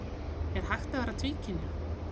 er hægt að vera tvíkynja